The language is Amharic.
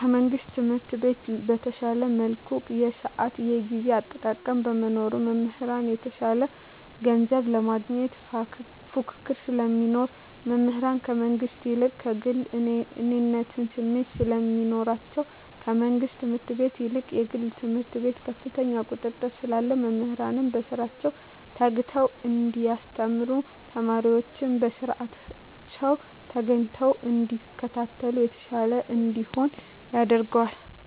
ከመንግስት ትምህርት ቤት በተሻለ መልኩ የስአት የጊዜ አጠቃቀም በመኖሩ። መምህራን የተሻለ ገንዘብ ለማግኘት ፉክክር ስለሚኖር። መምህራን ከመንግስት ይልቅ ከግሉ የእኔነት ስሜት ስለሚኖራቸዉ። ከመንግስት ትምህርት ቤት ይልቅ የግል ትምህርት ቤት ከፍተኛ ቁጥጥር ስላለ መምህራን በስራቸዉ ተግተዉ እንዲያስተምሩ ተማሪወችም በስአታቸዉ ተገኝተዉ እንዲከታተሉ የተሻለ እንዲሆን ያደርጋል።